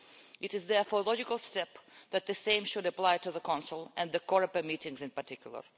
It is therefore a logical step that the same should apply to the Council, and the Coreper meetings in particular.